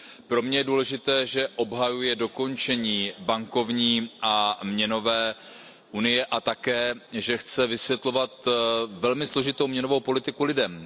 Pro mě je důležité, že obhajuje dokončení bankovní a měnové unie a také, že chce vysvětlovat velmi složitou měnovou politiku lidem.